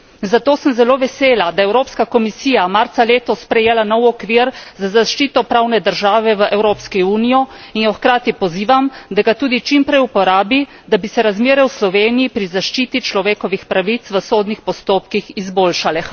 Zato sem zelo vesela, da je Evropska komisija marca letos sprejela nov okvir za zaščito pravne države v Evropski uniji in jo hkrati pozivam, da ga tudi čimprej uporabi, da bi se razmere v Sloveniji pri zaščiti človekovih pravic v sodnih postopkih izboljšale.